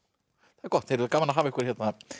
það er gott gaman að hafa ykkur hér